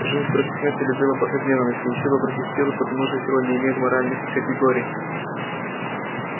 жизнь против смерти любила против ненависти и сила против силы потому что сила не имеет моральных категорий